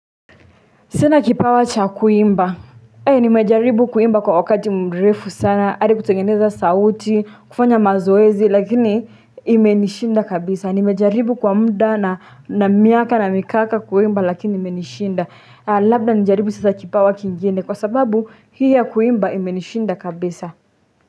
Sina kipawa cha kuimba. Hei nimejaribu kuimba kwa wakati mrefu sana. Ari kutengeneza sauti. Kufanya mazoezi. Lakini imenishinda kabisa. Nimejaribu kwa mda na na miaka na mikaka kuimba lakini imenishinda. Labda nijaribu sasa kipawa kingine. Kwa sababu hii ya kuimba imenishinda kabisa.